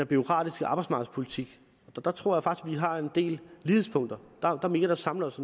bureaukratiske arbejdsmarkedspolitik og der tror at vi har en del lighedspunkter der er mere der samler os